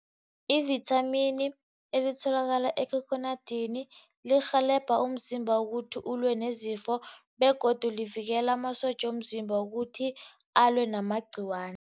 Ivithamini elitholakala ekhokhonadini lirhelebha umzimba ukuthi ulwe nezifo begodu livikela amasotja womzimba ukuthi alwe namagciwani.